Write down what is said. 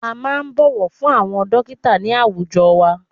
A máà ń bọ̀wọ̀ fún àwọn dọ́kítà ní àwùjọ wa.